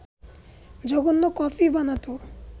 জঘন্য কফি বানাত